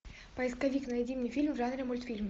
поисковик найди мне фильм в жанре мультфильм